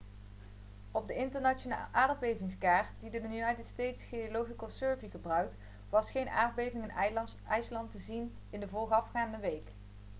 op de internationale aardbevingskaart die de united states geological survey gebruikt was geen aardbevingen in ijsland te zien in de voorafgaande week